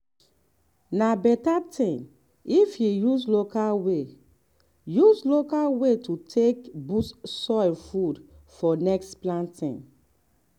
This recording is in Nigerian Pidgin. na better thing if you use local way use local way take boost soil food for next planting.